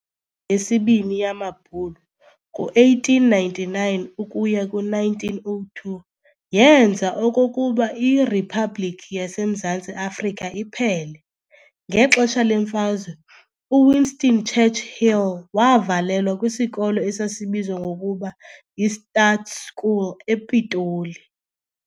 yesiBini yamaBhulu ngo-1899 ukuya ku1902 yeenza okokuba iRhiphabhlikhi yaseMzantsi Afrika iphele. Ngexesha lemfazwe, uWinston Churchill waavalelwa kwisikolo esasibizwa ngokuba yiStaats School ePitoli.